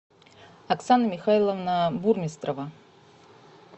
оксана михайловна бурмистрова